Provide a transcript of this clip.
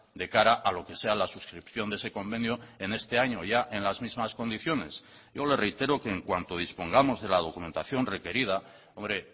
de cara a lo que sea la suscripción de ese convenio en este año ya en las mismas condiciones yo le reitero que en cuanto dispongamos de la documentación requerida hombre